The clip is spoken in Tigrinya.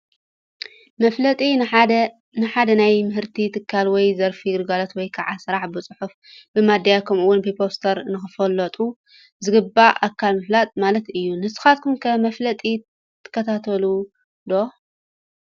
መፋለጢ፡- ንሓደ ናይ ምህርቲ ትካል ወይ ዘርፊ ፣ ግልጋሎት ወይ ከዓ ስራሕ ብፅሑፍ፣ ብሚድያ ከምኡ ውን ብፖስተር ንኽፈልጦ ዝግበኦ ኣካል ምፍላጥ ማለት እዩ፡፡ ንስኻትኩም ከ መፋለጢ ትከታተሉ ዶ?